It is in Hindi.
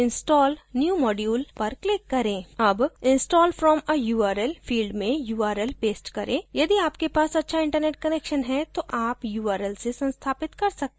अब install from a url field में url paste करें यदि आपके पास अच्छा internet connection है तो आप url से संस्थापित कर सकते हैं